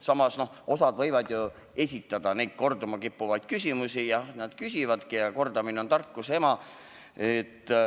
Samas, osad võivadki ju esitada neid korduma kippuvaid küsimusi – kordamine on tarkuse ema.